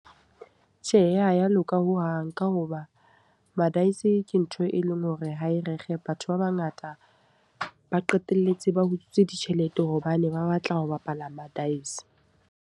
Tjhe, ha ya loka ho hang. Ka hoba ma-dice ke ntho e leng hore ha e rekge. Batho ba bangata ba qetelletse ba utswitse ditjhelete hobane ba batla ho bapala ma-dice.